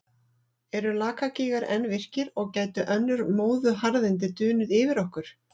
Eru Lakagígar enn virkir og gætu önnur móðuharðindi dunið yfir okkur?